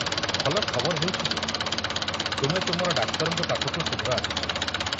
ଭଲ ଖବର ହେଉଛି ଯେ ତୁମେ ତୁମର ଡାକ୍ତରଙ୍କ ପାଖକୁ ଶୀଘ୍ର ଆସିଛ।